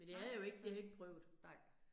Nej altså, nej